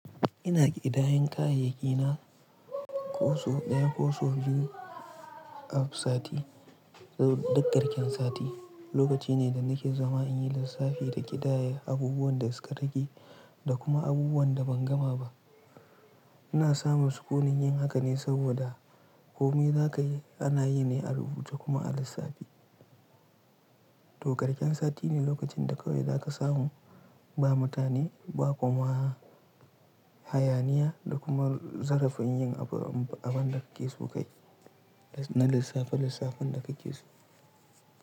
Ina ƙidayen kayayyaki na ko so ɗaya ko so biyu af sati. Dukarshen sati lokaci ne da nake zama in yi lissafi da ƙidaya abubuwan da suka rage da kuma abubuwan da ban gama ba. Ina samun sukuni yin haka ne saboda komai za ka yi ana yi ne a rubuce kuma a lissafi. To karshen sati ne lokacin da kawai za ka samu ba mutane ba kuma hayaniya da kuma zarafi in yi abin da kake so kai na lissafi lissafin da kake so.